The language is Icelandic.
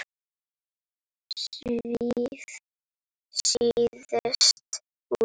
Svíf síðust út.